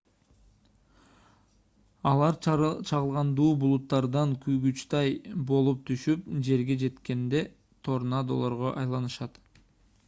алар чагылгандуу булуттардан куйгучтай болуп түшүп жерге жеткенде торнадолорго айланышат